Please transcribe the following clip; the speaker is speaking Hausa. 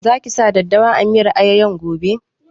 Za ki sa daddawa a miyar ayoyon gobe?